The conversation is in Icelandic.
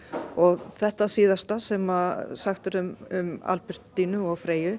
og þetta síðasta sem sagt er um Albertínu og Freyju